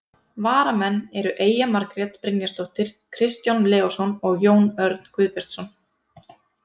Varamenn eru Eyja Margrét Brynjarsdóttir, Kristján Leósson og Jón Örn Guðbjartsson.